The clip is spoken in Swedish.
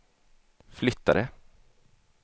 flyttade